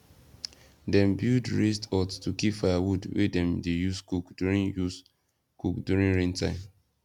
dem build raised hut to keep firewood wey dem dey use cook during use cook during rain time